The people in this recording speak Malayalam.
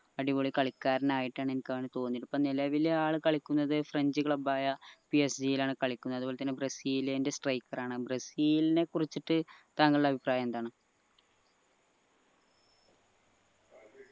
അടിപൊളി കളിക്കാരൻ ആയിട്ടാണ് എനിക്ക് അവനെ തോന്നിയത് ഇപ്പൊ നിലവില് ആൾ കളിക്കുന്നത് ഫ്രഞ്ച് club ആയ PSG യിലാണ് കളിക്കുന്നത് അത്പോലെ തന്നെ ബ്രസീലിന്റെ striker ആണ് ബ്രസീലിനെ കുറിച്ച് താങ്കളുടെ അഭിപ്രായം എന്താണ്